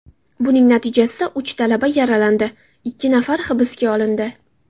Buning natijasida uch talaba yaralandi, ikki nafari hibsga olindi.